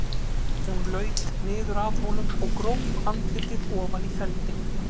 Hún laut niður að honum og gróf andlitið ofan í feldinn.